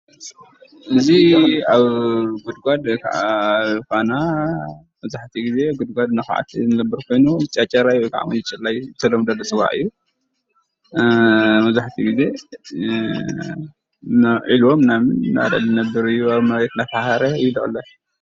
እዚ ኣብ ጉድጓድ ወይ ክዓ ኣብ ኳና መብዛሕቲኡ ግዜ ጉድጓድ እናዃዓተ ዝነብር ኮይኑ ጨጨራ ወይ ክዓ ምፁፁላይ ብተለምዶ ዝፅዋዕ እዩ ፡፡ መብዛሕቲኡ ግዜ ናብ ዒልቦ ምናምን እናበለ ዝነብር እዩ ኣብ መሬት እናፈሓረ እዩ ዝቅለብ፡፡